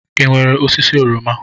Ị nwere osisi oroma?